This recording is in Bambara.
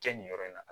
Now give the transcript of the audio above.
Kɛ nin yɔrɔ in na